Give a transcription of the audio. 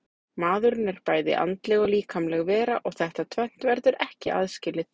Maðurinn er bæði andleg og líkamleg vera og þetta tvennt verður ekki aðskilið.